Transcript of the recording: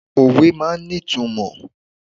Òwe máa ń ní ìtumọ̀.